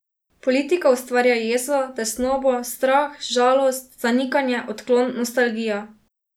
Politika ustvarja jezo, tesnobo, strah, žalost, zanikanje, odklon, nostalgijo.